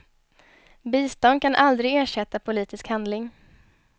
Bistånd kan aldrig ersätta politisk handling.